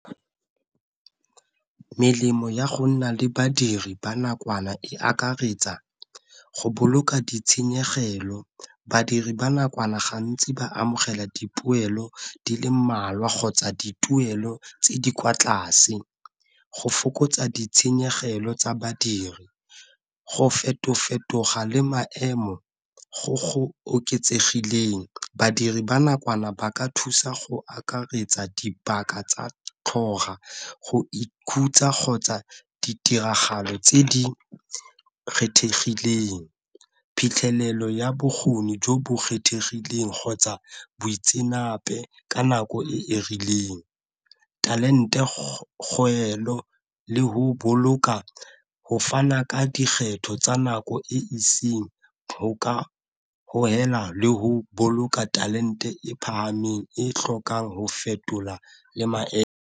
Melemo ya go nna le badiri ba nakwana e akaretsa go boloka di tshenyegelo, badiri ba nakwana gantsi ba amogela dipoelo di le mmalwa kgotsa dituelo tse di kwa tlase, go fokotsa ditshenyegelo tsa badiri, go feto-fetoga le maemo go go oketsegileng, badiri ba nakwana ba ka thusa go akaretsa dipaka tsa go ikhutsa kgotsa ditiragalo tse di kgethegileng, phitlhelelo ya bokgoni jo bo kgethegileng kgotsa boitseanape ka nako e e rileng, talent e le go boloka go fana ka dikgetho tsa nako e le go boloka talent e phahameng e tlhokang go fetola le maemo.